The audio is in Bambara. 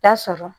Ta sɔrɔ